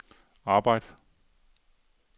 arbejd